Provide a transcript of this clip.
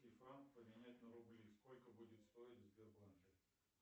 и франк поменять на рубли сколько будет стоить в сбербанке